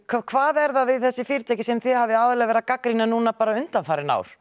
hvað er það við þessi fyrirtæki sem þið hafið aðallega verið að gagnrýna núna undanfarin ár